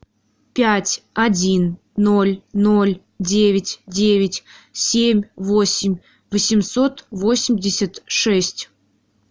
пять один ноль ноль девять девять семь восемь восемьсот восемьдесят шесть